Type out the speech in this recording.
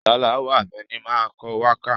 Sàláwà Àbẹ̀ní máa ń kọ wákà.